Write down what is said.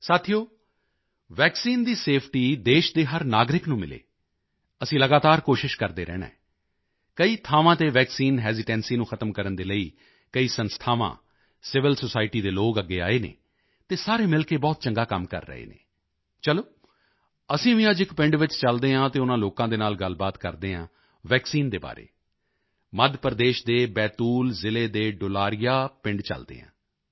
ਸਾਥੀਓ ਵੈਕਸੀਨ ਦੀ ਸੇਫਟੀ ਦੇਸ਼ ਦੇ ਹਰ ਨਾਗਰਿਕ ਨੂੰ ਮਿਲੇ ਅਸੀਂ ਲਗਾਤਾਰ ਕੋਸ਼ਿਸ਼ ਕਰਦੇ ਰਹਿਣਾ ਹੈ ਕਈ ਥਾਵਾਂ ਤੇ ਵੈਕਸੀਨ ਹੈਸੀਟੈਂਸੀ ਨੂੰ ਖਤਮ ਕਰਨ ਦੇ ਲਈ ਕਈ ਸੰਸਥਾਵਾਂ ਸੀਵਿਲ ਸੋਸਾਇਟੀ ਦੇ ਲੋਕ ਅੱਗੇ ਆਏ ਹਨ ਅਤੇ ਸਾਰੇ ਮਿਲ ਕੇ ਬਹੁਤ ਚੰਗਾ ਕੰਮ ਕਰ ਰਹੇ ਹਨ ਚਲੋ ਅਸੀਂ ਵੀ ਅੱਜ ਇਕ ਪਿੰਡ ਵਿੱਚ ਚੱਲਦੇ ਹਾਂ ਅਤੇ ਉਨ੍ਹਾਂ ਲੋਕਾਂ ਨਾਲ ਗੱਲਬਾਤ ਕਰਦੇ ਹਾਂ ਵੈਕਸੀਨ ਦੇ ਬਾਰੇ ਮੱਧ ਪ੍ਰਦੇਸ਼ ਦੇ ਬੈਤੂਲ ਜ਼ਿਲ੍ਹੇ ਦੇ ਡੁਲਾਰੀਆ ਪਿੰਡ ਚਲਦੇ ਹਾਂ